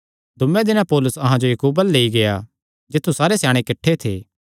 दूये दिने पौलुस अहां जो याकूबे अल्ल लेई गेआ जित्थु सारे स्याणे किठ्ठे थे